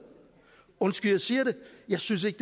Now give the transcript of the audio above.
undskyld jeg siger det jeg synes ikke